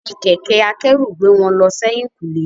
Fi kẹ̀kẹ́ akẹ́rù gbé wọn lọ sẹ́yìn kùlé.